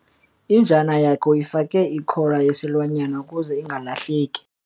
Injana yakhe uyifake ikhola yesilwanyana ukuze ingalahleki.